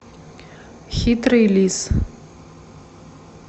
хитрый лис